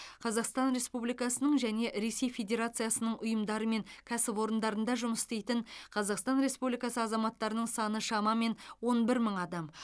қазақстан республикасының және ресей федерациясының ұйымдары мен кәсіпорындарында жұмыс істейтін қазақстан республикасы азаматтарының саны шамамен он бір мың адам